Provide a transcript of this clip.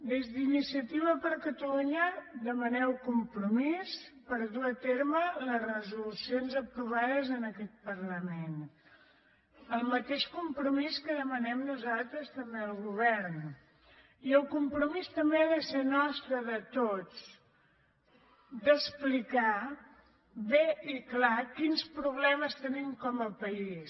des d’iniciativa per catalunya demaneu compromís per dur a terme les resolucions aprovades en aquest parlament el mateix compromís que demanem nosaltres també al govern i el compromís també ha de ser nostre de tots d’explicar bé i clar quins problemes tenim com a país